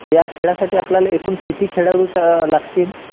ह्या खेळासाठी आपल्याला एकूण किती खेळाडू लागतील?